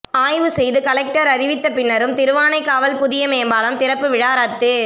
ஆய்வு செய்து கலெக்டர் அறிவித்த பின்னரும் திருவானைக்காவல் புதிய மேம்பாலம் திறப்பு விழா ரத்து